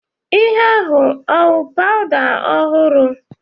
Ihe ahu ọ wụ powda ọhụrụ?